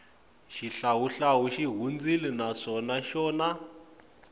xihlawuhlawu xi hundzile na swa xona